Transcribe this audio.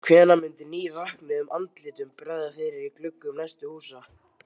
Hvenær myndi nývöknuðum andlitum bregða fyrir í gluggum næstu húsa?